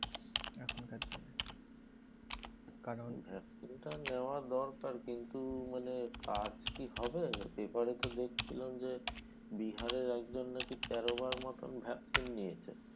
vaccine টা নেওয়া দরকার কিন্তু মানে কাজ কি হবে? paper এ তো দেখছিলাম যে, বিহারের একজন নাকি তেরো বার মতন vaccine নিয়েছে।